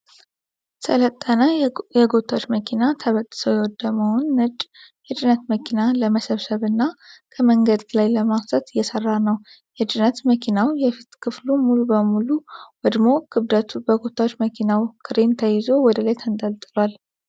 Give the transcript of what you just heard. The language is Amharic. ሰለጠነ የጎታች መኪና ተበጣጥሶ የወደመውን ነጭ የጭነት መኪና ለመሰብሰብ እና ከመንገድ ላይ ለማንሳት እየሰራ ነው። የጭነት መኪናው የፊት ክፍል ሙሉ በሙሉ ወድሞ ክብደቱ በጎታች መኪናው ክሬን ተይዞ ወደ ላይ ተንጠልጥሏል።